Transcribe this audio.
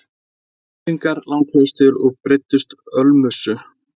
Þeir voru unglingar langflestir og beiddust ölmusu.